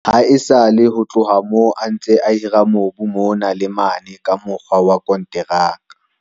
Haesale ho tloha moo a ntse a hira mobu mona le mane ka mokgwa wa konteraka.